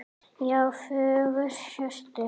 Já, fjögur HJÖRTU!